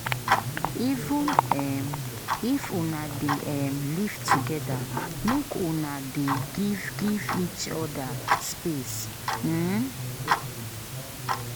Even um if una dey um live togeda, make una dey give give each oda space. um